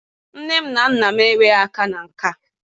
Nne na nna m enweghị aka na nke a.